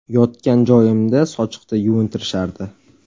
Yotgan joyimda sochiqda yuvintirishardi.